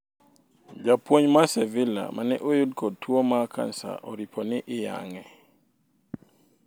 Japuonj mar Sevilla maneuyud ko tuwo mar cancer oripo ni iyang'e